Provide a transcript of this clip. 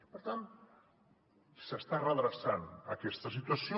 per tant s’està redreçant aquesta situació